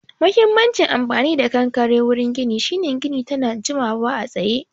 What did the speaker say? Huhimmacin amfani da konkare wurin gini shine gini tana jimawa a tsaye